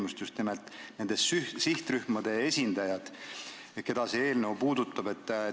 Mõtlen just nimelt nende sihtrühmade esindajaid, keda see eelnõu puudutab.